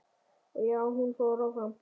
Og já, hún fór áfram!!